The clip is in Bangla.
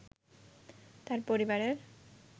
তার পরিবারের